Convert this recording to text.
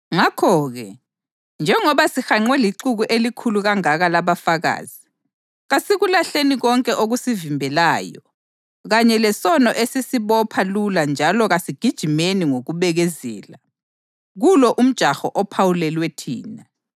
Ngakho-ke, njengoba sihanqwe lixuku elikhulu kangaka labafakazi, kasikulahleni konke okusivimbelayo kanye lesono esisibopha lula njalo kasigijimeni ngokubekezela kulo umjaho ophawulelwe thina.